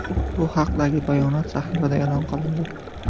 Bu haqdagi bayonot sahifada e’lon qilindi .